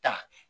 Ta